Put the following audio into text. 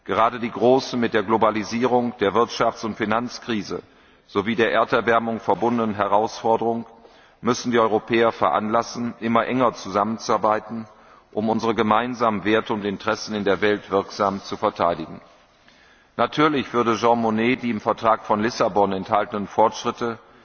Gerade die mit der Globalisierung, der Wirtschafts und Finanzkrise sowie der Erderwärmung verbundenen großen Herausforderungen müssen die Europäer veranlassen, immer enger zusammenzuarbeiten, um unsere gemeinsamen Werte und Interessen in der Welt wirksam zu verteidigen. Natürlich würde Jean Monnet die im Vertrag von Lissabon enthaltenen Fortschritte